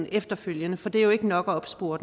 efterfølgende for det er jo ikke nok at opspore